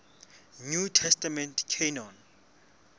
new testament canon